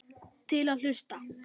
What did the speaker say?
Til í að hlusta.